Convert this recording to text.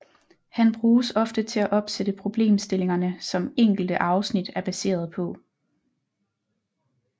Han bruges ofte til at opsætte problemstillingerne som enkelte afsnit er baseret på